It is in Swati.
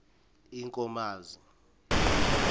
enkomazi